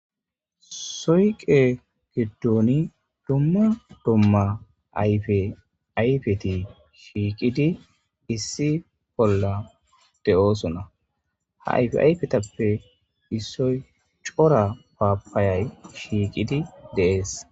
soyqe giddoni dumma dumma ayfe ayfeti shiiqidi issi bolla de'oosona ha ayfe ayfetappe issoy cora paapayay shiiqidi dee'es